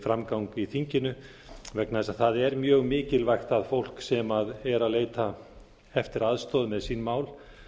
framgang í þinginu vegna þess að það er mjög mikilvægt að fólk sem er að leita eftir aðstoð með sín mál